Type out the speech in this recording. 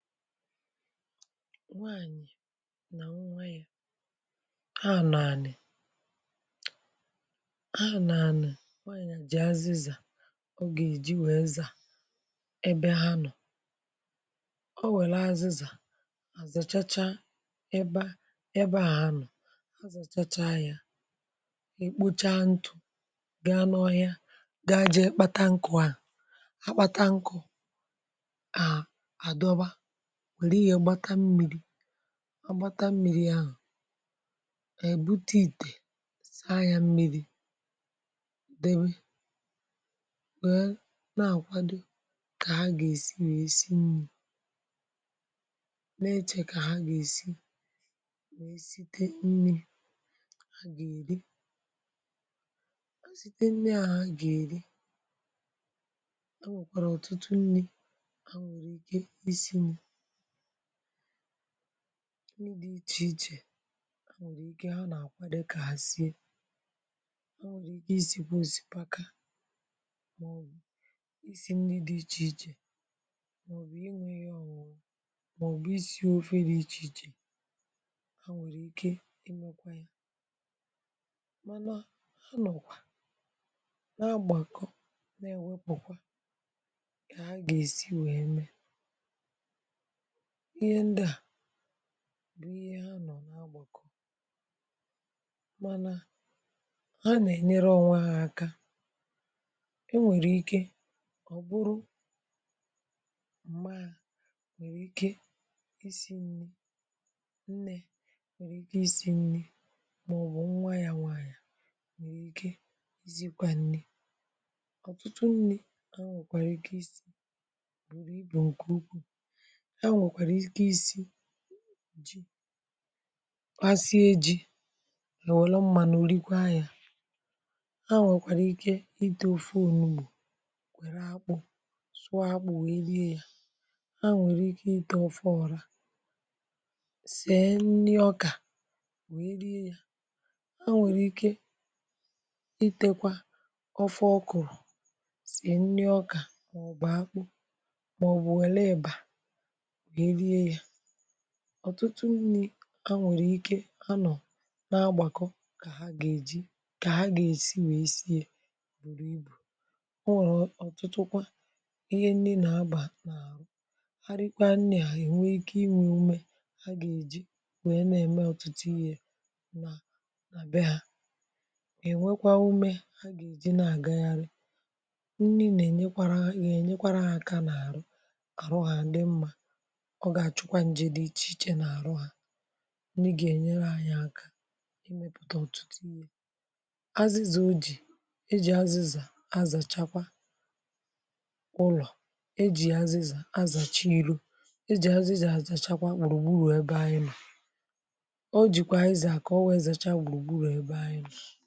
nwaanyị̀ nà nwaanyị̀ ha n’ànị̀ ha n’ànị̀ jì azịzà ogè ìji wèe zà ebe ha nọ̀ o wèla azịzà àzàchacha ebe àhȧ nọ̀ ha zàchacha yȧ èkpocha ntụ̇ ga n’ọhịa ga jee kpata nkụ̇ ha akpata nkụ̇ wère ihe gbata mmi̇ri̇ agbata mmi̇ri̇ ahụ̀ ạ̀yị̀ bute ìtè saa ya mmi̇ri̇ dèbe nwère nà-àkwado kà ha gà-èsi nà-èsi nni̇ na-echà kà ha gà-èsi nwèe site nni̇ a gà-èri ha site nneà ha gà-èri ha nwèkwàrà ọ̀tụtụ nni̇ ha nwèrè ike ịsị̇nị̇ nri di ichè ichè ha nà-àkwa dịkà sie ha nwèrè ike isi̇kwȧ òsikpaka màọ̀bụ̀ isi̇ nri dị ichè ichè um màọ̀bụ̀ inwė yȧ ọ̀wụ̀ m̀ọ̀bụ̀ isi̇ ofe dị ichè ichè ha nwèrè ike imekwa yȧ mànà ha nọ̀kwa na-agbàkọ na-èwepùkwa kà ha ga-èsi wee mee bụ ihe ha nọ n’agbàkọ̀ manà ha nà-ènyere ọnwa ha aka enwèrè ike ọ̀ bụrụ m̀gba nwèrè ike isi̇ nni̇ nnė nwèrè ike isi̇ nni̇ màọbụ̀ nwa yȧ nwanyà nwèrè ike izikwȧ nni̇ ọ̀tụtụ nni̇ à nwèkwàrà ike isi̇ bùrù ibù ǹkè ukwuù ji kwasi eji welo mmanù olikwe anya ha nwekwara ike ite ofu onugbo sụa akpu we rie ha nwekwara ike ite ofu oru sie nri oka we rie ya ha nwekwara ike itekwa ofu okuru site nri oka ma oge akpu ma obe eleba ọ̀tụtụ nni̇ a nwèrè ike a nọ̀ na-agbàkọ kà ha gà-èji kà ha gà-èsi wèe sie yȧ bùrù ibù ọ nwẹ̀rẹ̀ ọ̀tụtụ kwa ihe nni nà-agbà n’àhụ ha rikwa nni à ị̀nwẹ ikė inwù umė ha gà-èji wèe nà-ẹmẹ ọ̀tụtụ ya nà nà be hȧ ị̀ nwẹkwa umė ha gà-èji nà-àgagharị nni nà-ẹ̀nyẹkwàrà ị̀ gà-ẹ̀nyẹkwàrà hȧ n’àrụ ọ ga-achụkwa njiri iche iche na-arụ ha nwe ga-enyere anyị aka imepụta ọtụtụ ihe azịzị o ji e ji azịzà azachakwa ụlọ̀ e ji azịzà azàcha iro e ji azịzà azàchakwa gburugburu ebe anyị o jikwa izi a ka o wee zacha gburugburu ebe anyị